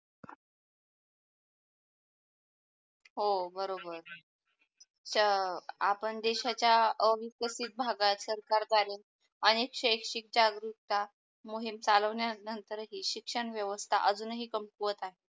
हो बरोबर. च्या अह आपण देशाच्या अविकसित भागात सरकार कार्य आणि शेकशी जागृता मोहीम चालवण्या नंतर ही शिक्षण व्यावस्था अजून ही कंपूवत आहे.